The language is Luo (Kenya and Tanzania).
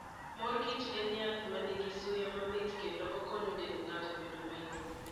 Mor kich en yath ma nigi suya mamit kendo okonyo dend ng'ato bedo mayom